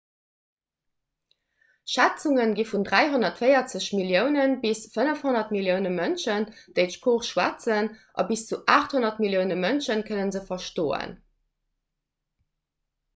schätzunge gi vun 340 millioune bis 500 millioune mënschen déi d'sprooch schwätzen a bis zu 800 millioune mënsche kënne se verstoen